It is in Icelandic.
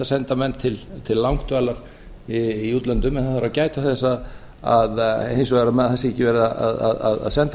senda menn til langdvalar í útlöndum en það þarf að gæta þess hins vegar að það sé ekki verið að senda